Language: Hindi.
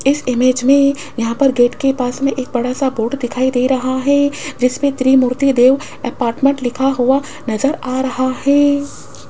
इस इमेज में यहां पे गेट के पास में एक बड़ा सा बोर्ड दिखाई दे रहा है जिसमें त्रिमूर्ति देव अपार्टमेंट लिखा हुआ नजर आ रहा है।